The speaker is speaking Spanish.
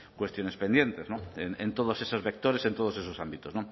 cuestiones pendientes en todos esos vectores en todos esos ámbitos